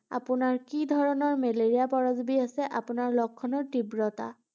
আপোনাৰ কি ধৰণৰ মেলেৰিয়া পৰজীৱী আছে, আপোনাৰ লক্ষণৰ তীব্ৰতা